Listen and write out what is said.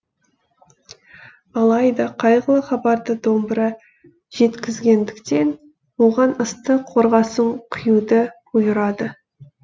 алайда қайғылы хабарды домбыра жеткізгендіктен оған ыстық қорғасын құюды бұйырады